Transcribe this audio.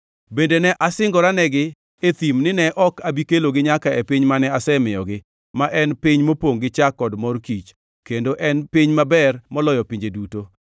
Bende ne asingoranegi e thim nine ok abi kelogi nyaka e piny mane asemiyogi, ma en piny mopongʼ gi chak kod mor kich, kendo en piny maber moloyo pinje duto